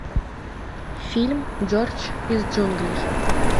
фильм джордж из джунглей